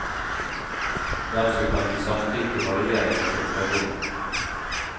Hvem som kan gi samtykke, varierer med situasjonen.